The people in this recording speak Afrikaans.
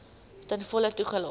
ten volle toegelaat